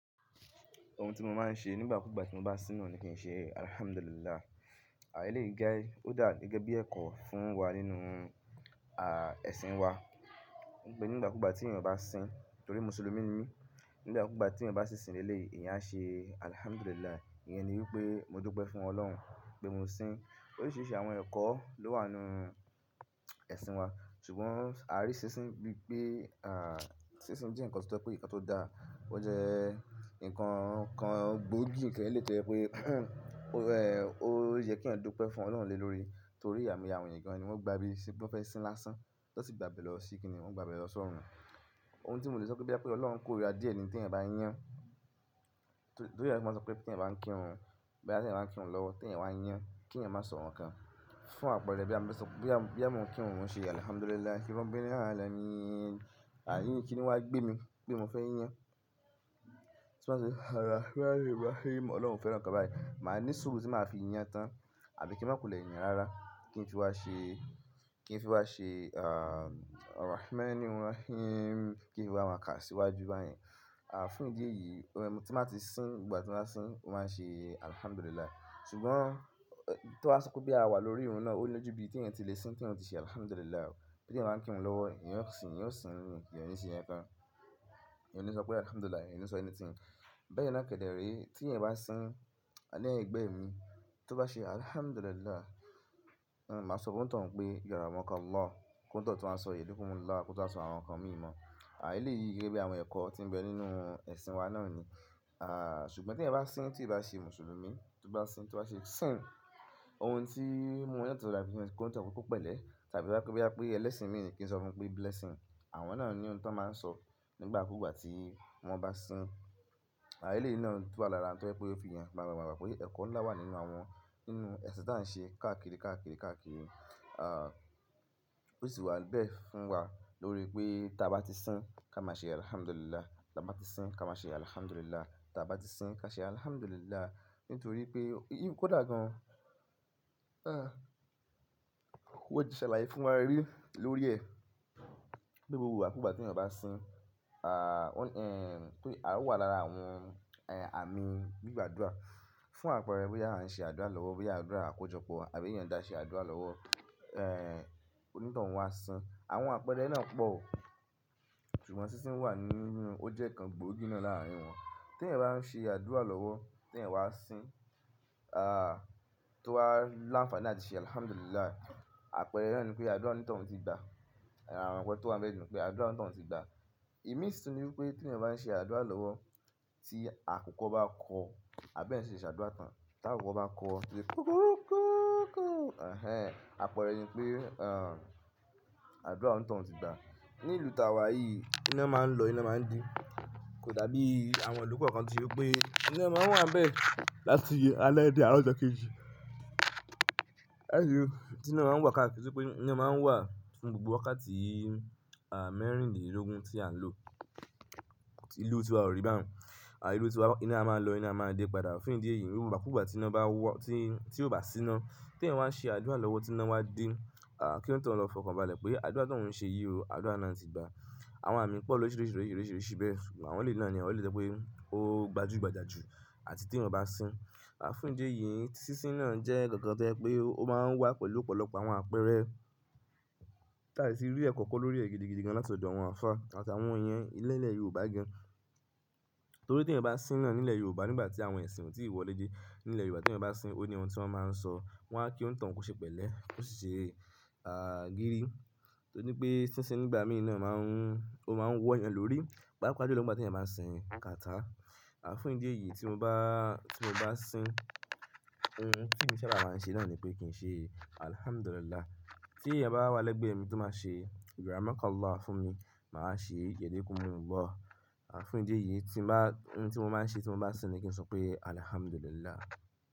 Ohun tí mo máa ń ṣe nígbà kúgbà tí mo bá síná ni kí n ṣe Alhamdulillah. Eleyii je, ó dà gẹ́gẹ́ bí ẹ̀kọ́ fún wa nínú, à, ẹ̀sìn wa. Nígbà kúgbà tí ènìyàn bá sín, torí Mùsùlùmí ni, nígbà kúgbà tí ènìyàn bá ṣi sín ni eleyii, ènìyàn aṣe Alhamdulillah. Íyẹn ni wípé mo dúpẹ́ fún Ọlọ́run pé mo sín. Oríṣiríṣi àwọn ẹ̀kọ́ ló wà nínú ẹ̀sìn wa. Ṣùgbọ́n a rí sísín bí pé, à, sísín jẹ́ ǹnkan tí o je wipé ǹnkan tó dáa. Ó jẹ́ ǹnkan kan gbòógì tẹ́lẹ̀ to je wipé, ó, ẹ́, ó yẹ kí eyan dúpẹ́ fún Ọlọ́run lé lórí. Torí aimoye àwọn ènìyàn gan-an ni wọ́n gba bí i pé wọ́n fẹ́ sín lásán. Tọ́ sì gba bẹ̀ lọ sí kíni, wọ́n gba bẹ̀ lọ sọ́run. Ohun tí mò le sọ pé bí à pé Ọlọ́run kó rira díẹ̀ ni tí ènìyàn bá yán. Torí ẹ máa sọ pé tí ènìyàn bá ń kírun, bí à tí ènìyàn bá ń kírun lọ́wọ́, tí ènìyàn wá yán, kí ènìyàn má sọ nǹkankan. Fún àpẹẹrẹ bí à mo fẹ sọ, bí à, bí à mo ń kírun, mò ń ṣe Alhamdulillah. Kí wọ́n bẹ́rẹ ní àlẹ́ ni, àni, kí ni wá gbé mi pé mo fẹ́ yán? Ti n ba sọpe, ara, ara, Ọlọ́run o fẹ́ràn nǹkan báyìí. Màá ní sùúrù tí màá fi yán tán. Àbí kí n má kulẹ̀ yàn rara. Kí n fi wá ṣe, kí n fi wá ṣe, à, ara, ẹ́, ẹ́, kí n fi wá máa kà síwájú báyìí. À, fún ìdí èyí, tí n bati sín ìgbà tí n ba sín, màá ṣe Alhamdulillah. Ṣùgbọ́n, tí wọ́n bá sọ pe boya à wà lórí irun náà óni ojú bí tí ènìyàn le tí lè sín, tí ènìyàn tí ṣe Alhamdulillah. Tí ènìyàn bá ń kírun lọ́wọ́, ènìyàn yóò sín, ènìyàn yóò sín, ènìyàn yóò ni ṣe nnkan-kan. Ènìyàn yóò ni sọ pé Alhamdulillah, ènìyàn ò ni sọ anything. Bẹ́ẹ̀ na kẹkẹrẹ tí ènìyàn bá sín, ni ẹgbẹ́ mi tó bá ṣe Alhamdulillah, n máa sọ fún onitan hun pé yàrá wọn kan la. Ki onitan un tun wa sọ Yorùbá fún mi la, kó tun wa sọ àwọn nǹkan mi mọ̀. Àí lé yìí gẹ́gẹ́ bí àwọn ẹ̀kọ́ tí ń bẹ nínú ẹ̀sìn wa náà ni. À, ṣùgbọ́n tí ènìyàn bá sín tí ò bá ṣe Mùsùlùmí, tó bá sín, tó bá ṣe sín, ohun tí o maa n yàtọ̀ ni láti ma so fún onitan un pe ko pẹ̀lẹ́ tàbí to ba je wípé boya ẹlẹ́sìn mi ni kí n sọ fún pé blessing. Àwọn náà ni ohun tí wọ́n máa ń sọ nígbà kúgbà tí wọ́n bá sín. Àa eleyii na tun wa lára ohun tó jẹ́ pé ó fi ìyàn máa gbagbà pé ẹ̀kọ́ ńlá wà nínú àwọn, nínú ẹ̀sìn tí à ń ṣe káàkiri, káàkiri, káàkiri. À, ó sì wà bẹ́ẹ̀ fún wa lórí pé tí a bá ti sín ká má ṣe Alhamdulillah. Ti a bá ti sín ká má ṣe Alhamdulillah. Ti a bá ti sín ká ṣe Alhamdulillah. Nítorí pé ìyí un kò dà gan-an. Wan ti ṣalaye fún wa rí lórí ẹ̀. Pe gbogbo ìgbà kúgbà tí ènìyàn bá sín, à, ó, ẹ́, torí à ó wà lára àwọn, ẹ́, àmì gbígba àdúrà. Fún àpẹẹrẹ bí à ń ṣe àdúrà lọ́wọ́, bí àdúrà àkójọpọ̀ àbí ènìyàn dà ṣe àdúrà lọ́wọ́, ẹ́, onítọ̀ún wá sín. Àwọn àpẹẹrẹ náà pọ̀. Ṣùgbọ́n sísín wà nínú, ó jẹ́ ǹnkan gbòógì náà láàrin wọn. Tí ènìyàn bá ń ṣe àdúrà lọ́wọ́, tí ènìyàn wá sín, à, tó wá láǹfààní àti ṣe Alhamdulillah, àpẹẹrẹ náà ni pé àdúrà onitan-ún tí gba. Àpẹẹrẹ tó wá bẹ́ẹ̀ ni pé àdúrà onítọ̀ún tí gba. Ìmí sini wípé tí ènìyàn bá ń ṣe àdúrà lọ́wọ́, tí àkùkọ bá kọ, àbí ẹ̀sin se àdúrà tán, tí àkùkọ bá kọ, ó ti kọkọrúkúúkúù. Ẹ̀hẹn, àpẹẹrẹ ni pé, à, àdúrà nítọ̀ún ti gba. Ní ìlú tí à wà yìí iná máa ń lọ, iná máa ń dé. Kò dàbí àwọn ìlú kan kan tí ó pé iná máa ń wà ń bẹ láti alẹ́ dé àárọ̀ ọjà kejì. Ẹ̀yọ, tí iná máa ń wà káàkiri, tí pé iná máa ń wà fún gbogbo wákàtí, à, mẹ́rìndínlógún tí à ń lò. Ìlú tí wà ò rí báhun. Àì, ìlú tí wà iná máa ń lọ, iná máa ń dé padà. Fún ìdí èyí, ìgbà kugba tí iná bá wa, tí, tí ó bá sí iná, tí ènìyàn wá n ṣe àdúrà lọ́wọ́, tí iná wá dé, à, kí oni tanun lọ fọkàn bá lẹ pé àdúrà ti oun ṣe yìí o, àdúrà náà ti gba. Àwọn àmì pọ̀ lórisirisirisirisi bẹ́ẹ̀. Ṣùgbọ́n àwọn le náà ni àwọn le so wipé ó gbajúgbajà jù. Àti tí ènìyàn bá sín. À, fún ìdí èyí, sísín náà jẹ́ kankan to je wípé ó máa ń wá pẹ̀lú ọ̀pọ̀lọpọ̀ àwọn àpẹẹrẹ. Láìsí rí ẹ̀kọ́ kan lórí rẹ̀ gidigidi gan-an látọ̀dọ̀ àwọn àfá àtàwọn eyan nilẹ́lẹ̀ Yorùbá gan-an. Torí tí ènìyàn bá sín náà nílẹ̀ Yorùbá nígbà tí àwọn ẹ̀sìn ò tí ì wọlé de. Nílẹ̀ Yorùbá tí ènìyàn bá sín, ó ní ohun tí wọ́n máa ń sọ. Wọ́n á kí onitan-un koṣe pẹ̀lẹ́. Ko sì ṣe, à, gírí. Torí pé sísín nígbà mí ì náà máa ń, ó máa ń wọ ẹ̀yàn lórí. Pápá ju lo nígbà ti eyan bá sín boya kàtá. À, fún ìdí èyí tí mo bá, tí mo bá sín, ohun tí emi ṣaba maa ń ṣe náà ni pé kí n ṣe Alhamdulillah. Tí ènìyàn bá wà lẹ́gbẹ̀ẹ́ mi tó máa ṣe yàrá wọn kan laa fún mi, màá ṣe Yorùbá fún mi lọ́wọ́ na. À, fún ìdí èyí tí má, ohun tí mo máa ń ṣe tí mo bá sín ni kí n sọ pé Alhamdulillah.